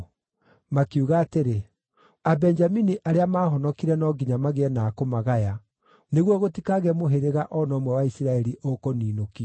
Makiuga atĩrĩ, “Abenjamini arĩa maahonokire no nginya magĩe na a kũmagaya, nĩguo gũtikagĩe mũhĩrĩga o na ũmwe wa Isiraeli ũkũniinũkio.